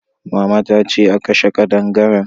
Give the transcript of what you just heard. Mama ta ce a kashe kadangaren